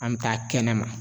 An be taa kɛnɛ ma.